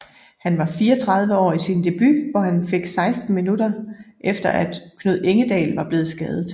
Han var 34 år i sin debut hvor han fik 16 minuter efter at Knud Engedal var blevet skadet